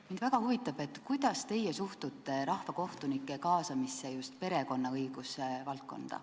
Mind väga huvitab, kuidas teie suhtute rahvakohtunike kaasamisse just perekonnaõiguse valdkonnas.